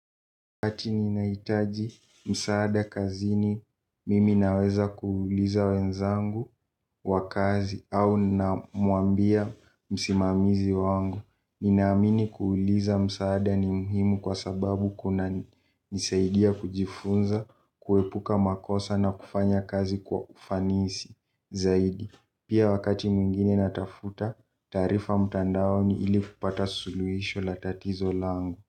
Wakati ninaitaji msaada kazini mimi naweza kuuliza wenzangu wa kazi au na muambia msimamizi wangu. Ninaamini kuuliza msaada ni muhimu kwa sababu kuna nisaidia kujifunza, kuwepuka makosa na kufanya kazi kwa ufanisi zaidi. Pia wakati mwingine natafuta tarifa mtandaoni ili kupata suluisho la tatizo langu.